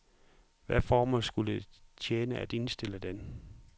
Hvad formål skulle det tjene at indstille den?